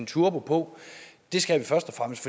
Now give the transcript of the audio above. turbo på det skal